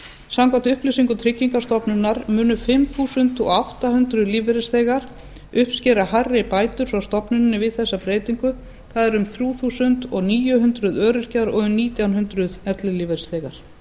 samkvæmt upplýsingum tryggingastofnunar munu fimm þúsund átta hundruð lífeyrisþegar uppskera hærri bætur frá stofnuninni við þessa breytingu það eru um þrjú þúsund níu hundruð öryrkjar og um nítján hundruð ellilífeyrisþegar